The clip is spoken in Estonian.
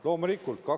Loomulikult jäi!